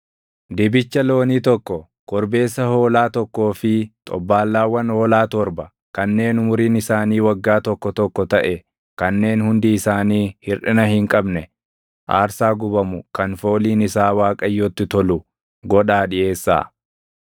Dibicha loonii tokko, korbeessa hoolaa tokkoo fi xobbaallaawwan hoolaa torba kanneen umuriin isaanii waggaa tokko tokko taʼe kanneen hundi isaanii hirʼina hin qabne aarsaa gubamu kan fooliin isaa Waaqayyotti tolu godhaa dhiʼeessaa.